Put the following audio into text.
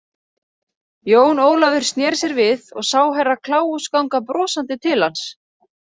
Jón Ólafur sneri sér við og sá Herra Kláus ganga brosandi til hans.